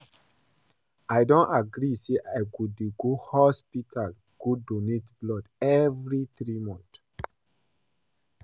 I don agree say I go dey go hospital go donate blood every three months